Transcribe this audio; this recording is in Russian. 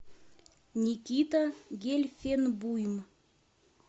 никита гельфенбуйм